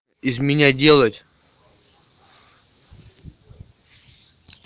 из меня делать